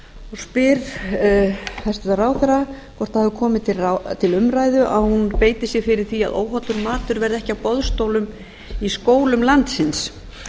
spyr hæstvirtur ráðherra hvort það hafi komið til umræðu að hún beiti sér fyrir því að óhollur matur verði ekki á boðstólum í skólum landsins